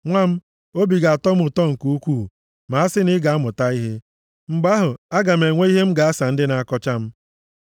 Nwa m, obi ga-atọ m ụtọ nke ukwuu ma a sị na ị ga-amụta ihe! Mgbe ahụ, aga m enwe ihe m ga-asa ndị na-akọcha m.